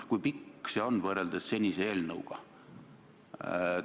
Kui pikk see on võrreldes senise eelnõuga?